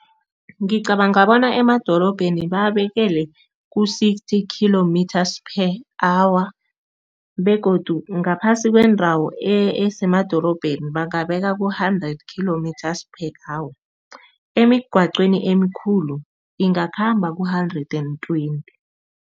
Ngicabanga bona emadorobheni babekelwe ku-sixty kilometres per hour begodu ngaphasi kwendawo esemadorobheni bangabeka ku-hundred kilometres per hour, emigaqweni emikhulu ingakhamba ku-hundred and twenty.